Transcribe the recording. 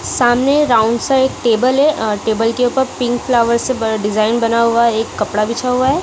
सामने round side table है और टेबल के ऊपर पिंक फ्लावर्स डिजाइन बना हुआ है एक कपड़ा बिछा हुआ है।